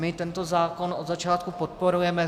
My tento zákon od začátku podporujeme.